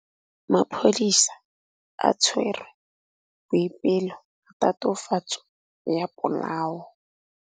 Maphodisa a tshwere Boipelo ka tatofatsô ya polaô.